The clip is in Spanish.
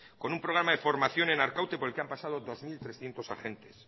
con un programa de formación en arkaute por el que han pasado dos mil trescientos agentes